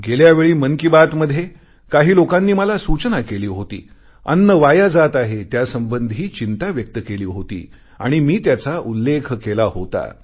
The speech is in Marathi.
गेल्या वेळी मन की बात मध्ये काही लोकांनी मला सूचना केली होती अन्न वाया जात आहे त्यासंबंधी चिंता व्यक्त केली होती आणि मी त्याचा उल्लेख केला होता